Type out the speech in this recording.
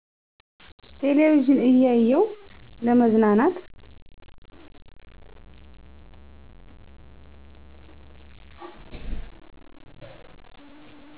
ቴለቪዥን እያየው ለመዝናናት